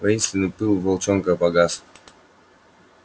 воинственный пыл волчонка погас